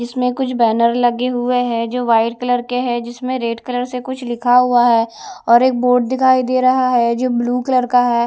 इसमें कुछ बैनर लगे हुए है जो वाइट कलर के है जिसमें रेड कलर से कुछ लिखा हुआ है और एक बोर्ड दिखाई दे रहा है जो ब्लू कलर का है।